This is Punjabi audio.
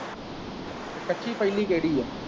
ਕੱਚੀ ਪਹਿਲੀ ਕਿਹੜੀ ਹੈ?